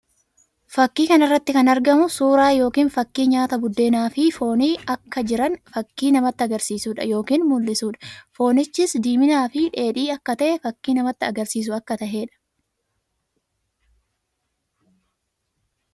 Fakkii kana irratti kan argamu suuraa yookiin fakkii nyaata buddeenaa fi foonii akka jiran fakkii namatti agarsiisuu dha yookiin mullisuu dha. Foonichis diiminaa fi dheedhii akka ta'e fakkii namatti agarsiisu akka tahee dha.